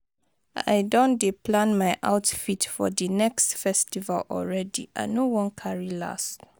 I don dey plan my outfit for di next festival already, I no wan carry last